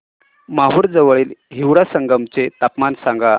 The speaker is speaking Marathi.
माहूर जवळील हिवरा संगम चे तापमान सांगा